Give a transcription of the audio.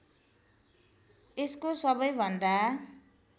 यसको सबैभन्दा